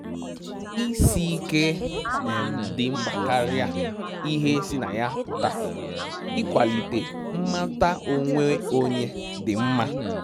Isi ike dị mkpa karịa ihe sị na ya pụta, ịkwalite mmata onwe onye dị mma